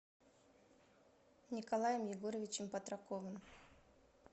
николаем егоровичем патраковым